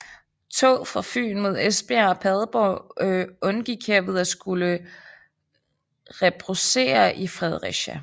Tog fra Fyn mod Esbjerg og Padborg undgik herved at skulle rebroussere i Fredericia